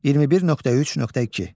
21.3.2.